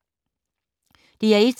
DR1